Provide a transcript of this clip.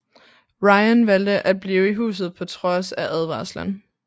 Rayan valgte at blive i huset på trods af advarslen